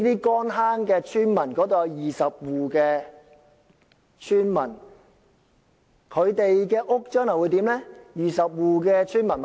乾坑村有20戶村民，他們的住屋將來會變成20座豪宅。